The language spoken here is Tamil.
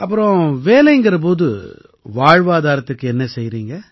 அப்புறம் வேலை எனும் போது வாழ்வாதாரத்துக்கு என்ன செய்யறீங்க